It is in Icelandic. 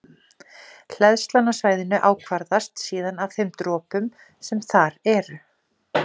Hleðslan á svæðinu ákvarðast síðan af þeim dropum sem þar eru.